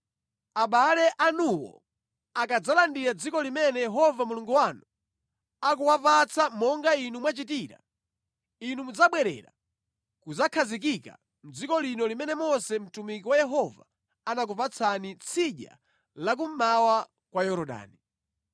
Abale anuwo akadzalandira dziko limene Yehova Mulungu wanu akuwapatsa monga inu mwachitira, inu mudzabwerera kudzakhazikika mʼdziko lanu limene Mose mtumiki wa Yehova anakupatsani tsidya la kummawa kwa Yorodani.”